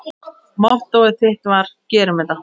Mottóið þitt var: Gerum þetta!